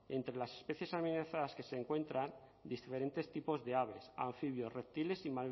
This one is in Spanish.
entre las especies amenazadas se encuentran diferentes tipos de aves anfibios reptiles y